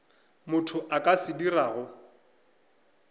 motho a ka se dirago